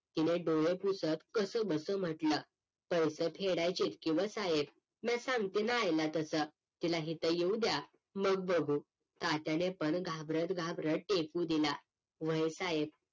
तिने डोळे पुसत कस बस म्हटलं पैसे फेडायचे की व्ह साहेब म्या सांगतते ना आईला तस तिला इथ येऊद्या मग बघू तात्याने पण घाबरत घाबरत टेकू दिला व्हय साहेब